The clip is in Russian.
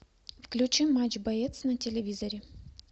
включи матч боец на телевизоре